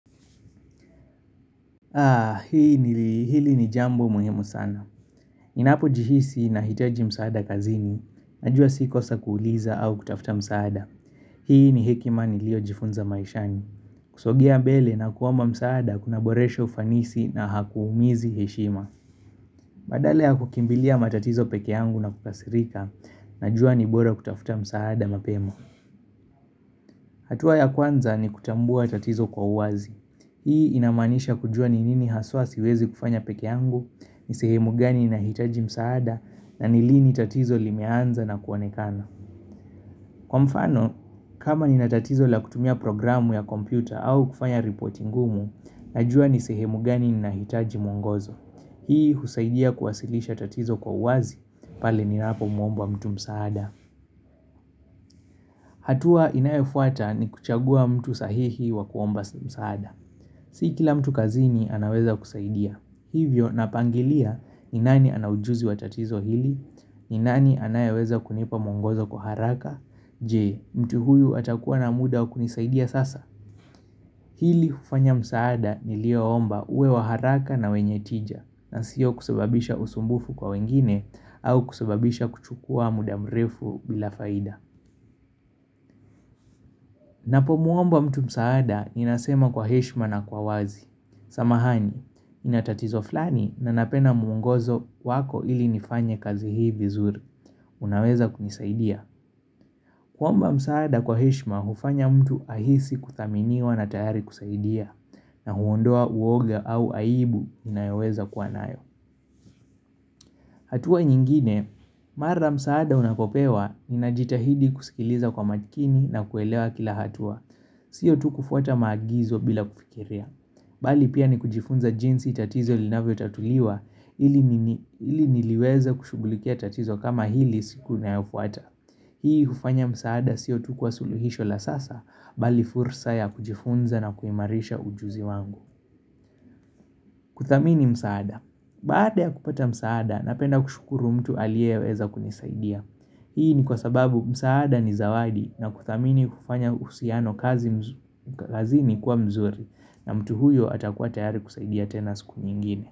Hili ni jambo muhimu sana. Ninapojihisi nahitaji msaada kazini, najua si kosa kuuliza au kutafuta msaada. Hii ni hekima niliyojifunza maishani. Kusogea mbele na kuomba msaada kunaboresha ufanisi na hakuumizi heshima. Badala ya kukimbilia matatizo peke yangu na kukasirika, najua ni bora kutafuta msaada mapema. Hatua ya kwanza ni kutambua tatizo kwa uwazi. Hii inamaanisha kujua ni nini haswa siwezi kufanya peke yangu, nisehemu gani inahitaji msaada, na ni lini tatizo limeanza na kuonekana. Kwa mfano, kama nina tatizo la kutumia programu ya kompyuta au kufanya ripoti ngumu, najua ni sehemu gani inahitaji mwongozo. Hii husaidia kuwasilisha tatizo kwa uwazi, pale ninapomwomba mtu msaada. Hatua inayofuata ni kuchagua mtu sahihi wa kuomba msaada. Si kila mtu kazini anaweza kusaidia. Hivyo napangilia ni nani ana ujuzi wa tatizo hili, ni nani anayeweza kunipa mwongozo kwa haraka, je mtu huyu atakuwa na muda wa kunisaidia sasa. Hili hufanya msaada nilioomba uwe wa haraka na wenye tija nasiyo kusababisha usumbufu kwa wengine au kusababisha kuchukua muda mrefu bila faida. Napomuomba mtu msaada ninasema kwa heshima na kwa wazi. Samahani, nina tatizo fulani na napenda mwongozo wako ili nifanye kazi hii vizuri. Unaweza kunisaidia. Kuomba msaada kwa heshima hufanya mtu ahisi kuthaminiwa na tayari kusaidia, na huondoa uoga au aibu inayeweza kuwa nayo. Hatua nyingine, mara msaada unapopewa, ninajitahidi kusikiliza kwa makini na kuelewa kila hatua, sio tu kufuata maagizo bila kufikiria. Bali pia ni kujifunza jinsi tatizo linavyotatuliwa, ili niliweza kushughulikia tatizo kama hili siku inayofuata. Hii hufanya msaada siyo tu kwa suluhisho la sasa, bali fursa ya kujifunza na kuimarisha ujuzi wangu. Kuthamini msaada. Baada ya kupata msaada, napenda kushukuru mtu aliyeweza kunisaidia. Hii ni kwa sababu msaada ni zawadi na kuthamini kufanya uhusiano kazi ni kuwa mzuri na mtu huyo atakuwa tayari kusaidia tena siku nyingine.